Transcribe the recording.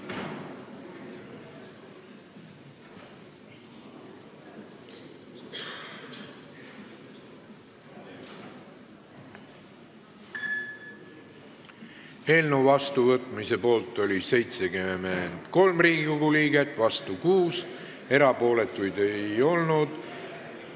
Hääletustulemused Eelnõu vastuvõtmise poolt oli 73 Riigikogu liiget, vastu 6, erapooletuid ei olnud.